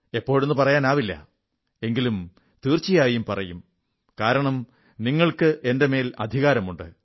എപ്പോഴെന്നു പറയാനാവില്ല എങ്കിലും തീർച്ചയായും പറയും കാരണം നിങ്ങൾക്ക് എന്റെ മേൽ അധികാരമുണ്ട്